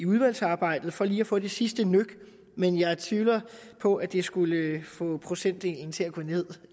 udvalgsarbejdet for lige kan få det sidste nøk men jeg tvivler på at det skulle få procentdelen til at gå ned